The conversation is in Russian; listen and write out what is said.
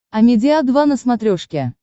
амедиа два на смотрешке